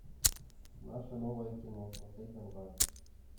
наше новое кино смотреть онлайн